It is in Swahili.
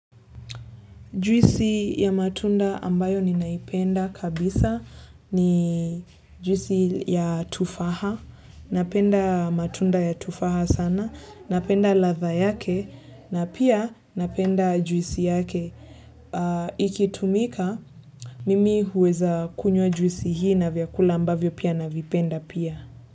Juisi ya matunda ambayo ninaipenda kabisa ni juisi ya tufaha, napenda matunda ya tufaha sana, napenda ladha yake, na pia napenda juisi yake. Ikitumika, mimi huweza kunywa juisi hii na vyakula ambavyo pia navipenda pia.